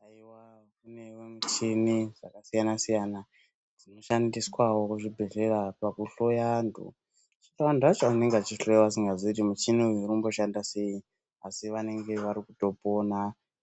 Haiwa kunewo michini dzakasiyana-siyana dzinoshandiswawo kuzvibhedhlera pakuhloya antu. Zvino antu acho anenge achihloyiwa asingazii kuti muchini uyu urikumboshanda sei, asi vanenge varikutopona.